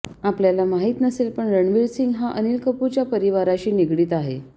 आपल्याला माहित नसेल पण रणवीर सिंह हा अनिल कपूरच्या परिवाराशी निगडीत आहे